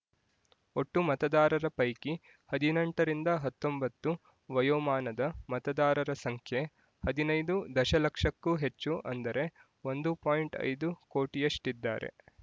ಒಟ್ಟು ಮತದಾರರ ಪೈಕಿ ಹದಿನೆಂಟರಿಂದ ಹತ್ತೊಂಬತ್ತು ವಯೋಮಾನದ ಮತದಾರರ ಸಂಖ್ಯೆ ಹದಿನೈದು ದಶಲಕ್ಷಕ್ಕೂ ಹೆಚ್ಚು ಅಂದರೆ ಒಂದು ಪಾಯಿಂಟ್ ಐದು ಕೋಟಿಯಷ್ಟಿದ್ದಾರೆ